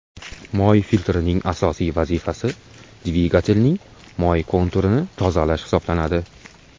Moy filtrining asosiy vazifasi, dvigatelning moy konturini tozalash hisoblanadi.